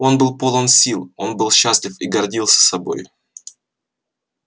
он был полон сил он был счастлив и гордился собой